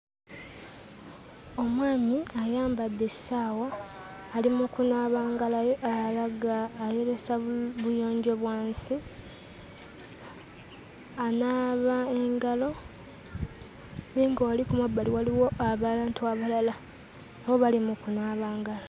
Omwami ayambadde essaawa ali mu kunaaba ngalo alaga ayolesa buyonjo bwa nsi anaaba engalo naye nga wali ku mabbali waliwo abantu abalala nabo bali mu kunaaba ngalo.